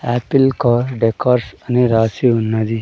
Apple car decors అని రాసి ఉన్నది.